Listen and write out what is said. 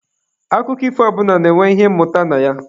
Akụkọ ifo ọbụla na-enwe ihe mmụta na ya.